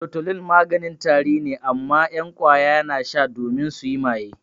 Tutolin maganin tari ne amma 'yan ƙwaya na sha domin suyi maye.